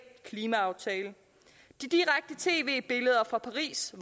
klimaaftale de direkte tv billeder fra paris